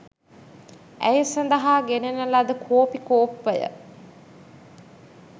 ඇය සඳහා ගෙනෙන ලද කෝපි කෝප්පය